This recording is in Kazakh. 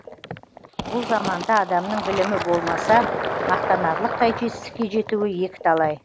бұл заманда адамның білімі болмаса мақтанарлықтай жетістікке жетуі екі талай